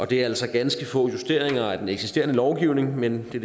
det er altså ganske få justeringer af den eksisterende lovgivning men det